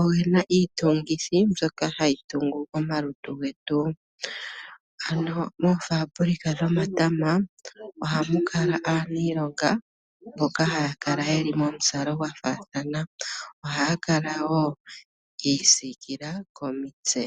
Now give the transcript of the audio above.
oge na iitungithi mbyoka hayi tungu omalutu getu. Ano moofaabulika dhomatama ohamu kala aaniilonga mboka haya kala yeli momuzalo gwafaathana , ohaya kala wo yiisikila komitse.